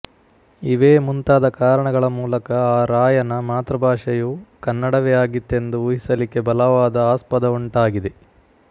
ಇವೇ ಮುಂತಾದ ಕಾರಣಗಳ ಮೂಲಕ ಆ ರಾಯನ ಮಾತೃಭಾಷೆಯು ಕನ್ನಡವೇ ಆಗಿತ್ತೆಂದು ಊಹಿಸಲಿಕ್ಕೆ ಬಲವಾದ ಆಸ್ಪದವುಂಟಾಗಿದೆ